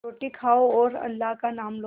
रोटी खाओ और अल्लाह का नाम लो